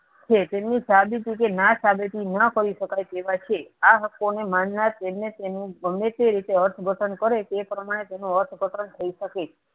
છે તેમની સાબિતી કે ના સાબિતી ન કરી શકાય તેવા છે આ હકો ની માનનાર તેમને તેમનું ગમે તે રીતે અર્થ ઘટન કરે તે પ્રમાણે તેનું અર્થ ઘટન થઇ શકે છે.